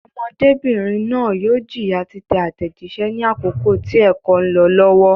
Ọmọdébìnrin náà yóò jìyà títẹ àtẹ̀jíṣẹ́ ní àkókò tí ẹ̀kọ́ ń lọ lọ́wọ́.